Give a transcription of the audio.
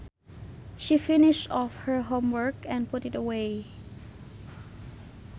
She finished off her homework and put it away